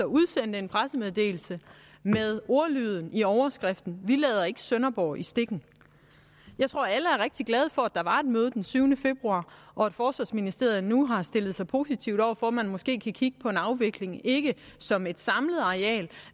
udsendte en pressemeddelelse med ordlyden i overskriften vi lader ikke sønderborg i stikken jeg tror alle er rigtig glade for at der var et møde den syvende februar og at forsvarsministeriet nu har stillet sig positiv over for at man måske kan kigge på en afvikling ikke som et samlet areal